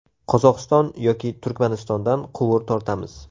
Qozog‘iston yoki Turkmanistondan quvur tortamiz.